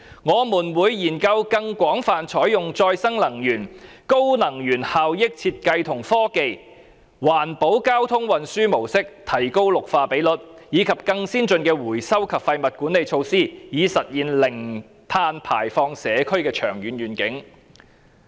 我們會研究更廣泛採用再生能源、高能源效益設計和科技、環保交通運輸模式，提高綠化比率，以及更先進的回收及廢物管理措施等，以實現零碳排放社區的長遠願景。